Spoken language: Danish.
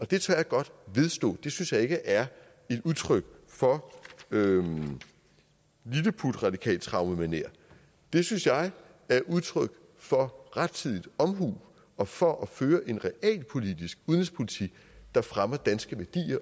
det tør jeg godt vedstå det synes jeg ikke er udtryk for lilleputradikaltraumemanér det synes jeg er udtryk for rettidig omhu og for at føre en realpolitisk udenrigspolitik der fremmer danske værdier